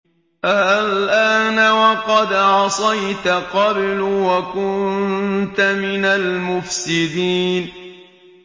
آلْآنَ وَقَدْ عَصَيْتَ قَبْلُ وَكُنتَ مِنَ الْمُفْسِدِينَ